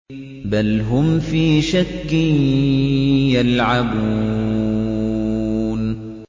بَلْ هُمْ فِي شَكٍّ يَلْعَبُونَ